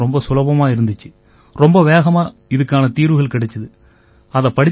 இதில கணிதம் ரொம்ப சுலபமா இருந்திச்சு ரொம்ப வேகமா இதுக்கான தீர்வுகள் கிடைச்சுது